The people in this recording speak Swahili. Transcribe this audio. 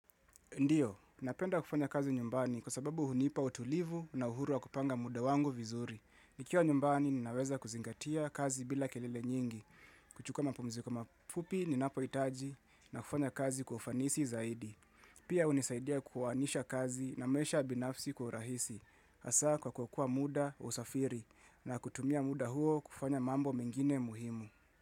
Ndiyo, napenda kufanya kazi nyumbani kwa sababu hunipa utulivu na uhuru wa kupanga muda wangu vizuri. Nikiwa nyumbani, ninaweza kuzingatia kazi bila kelele nyingi. Kuchuka mapumziko mafupi, ninapohitaji, na kufanya kazi kwa ufanisi zaidi. Pia hunisaidia kuuhanisha kazi na maisha binafsi kwa rahisi. Hasa kwa kuokoa muda, usafiri, na kutumia muda huo kufanya mambo mengine muhimu.